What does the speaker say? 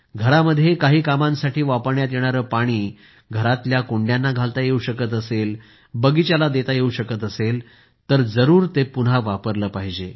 घरामध्ये काही कामांसाठी वापरण्यात येणारे पाणी घरातल्या कुंड्यांना घालता येऊ शकत असेल बगिचाला देता येऊ शकत असेल तर ते जरूर पुन्हा वापरले पाहिजे